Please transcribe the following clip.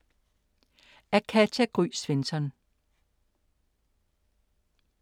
Af Katja Gry Svensson